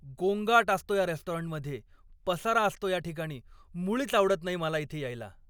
गोंगाट असतो या रेस्टॉरंटमध्ये, पसारा असतो या ठिकाणी, मुळीच आवडत नाही मला इथे यायला.